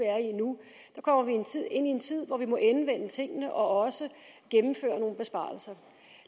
ind i en tid hvor vi må endevende tingene og også gennemføre nogle besparelser